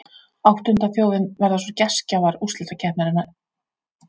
Áttunda þjóðin verða svo gestgjafar úrslitakeppninnar, Svíþjóð.